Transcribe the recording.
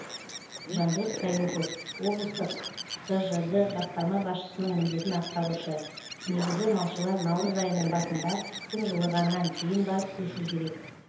жандос қаюпов облыстық тжд басқарма басшысының міндетін атқарушы негізі малшылар наурыз айының басында күн жылығаннан кейін барып көшу керек